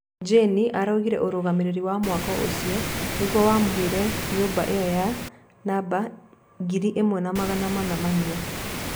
Jeni araugire ũrũgamĩrĩri wa mũako ũcio nĩguo wamũheire nyũmba ĩo ya namba ngiri ĩmwe na magana mana ma inya.